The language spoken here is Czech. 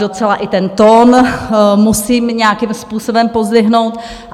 Docela i ten tón musím nějakým způsobem pozdvihnout.